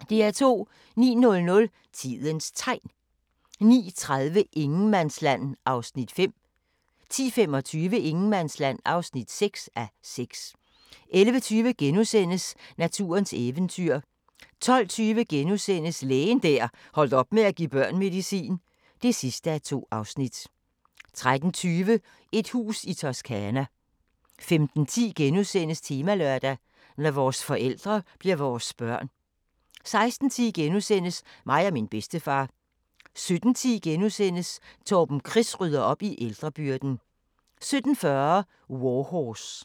09:00: Tidens Tegn 09:30: Ingenmandsland (5:6) 10:25: Ingenmandsland (6:6) 11:20: Naturens eventyr * 12:20: Lægen der holdt op med at give børn medicin (2:2)* 13:20: Et hus i Toscana 15:10: Temalørdag: Når vores forældre bliver vores børn * 16:10: Mig og min bedstefar * 17:10: Torben Chris rydder op i ældrebyrden * 17:40: War Horse